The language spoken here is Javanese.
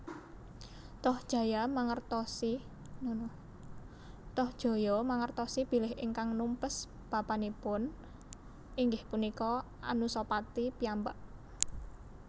Tohjaya mangertosi bilih ingkang numpes bapanipun inggih punika Anusapati piyambak